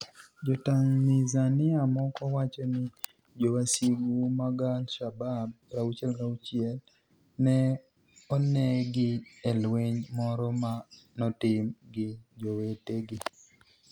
Jo-Tanizaniia moko wacho nii jowasigu mag al-Shabab 66 ni e oni egi e lweniy moro ma notim gi jowetegi.